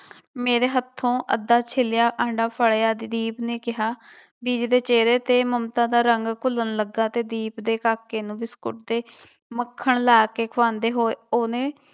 ਮੇਰੇ ਹੱਥੋਂ ਅੱਧਾ ਛਿਲਿਆ ਆਂਡਾ ਫੜਿਆ ਤੇ ਦੀਪ ਨੇ ਕਿਹਾ ਬੀਜੀ ਦੇ ਚਿਹਰੇ ਤੇ ਮਮਤਾ ਦਾ ਰੰਗ ਘੁੱਲਣ ਲੱਗਾ ਤੇ ਦੀਪ ਦੇ ਕਾਕੇ ਨੂੰ ਬਿਸਕੁਟ ਤੇ ਮੱਖਣ ਲਾ ਕੇ ਖਵਾਉਂਦੇ ਹੋਏ ਉਹਨੇ